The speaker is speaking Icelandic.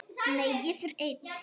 Nei, ég fer einn!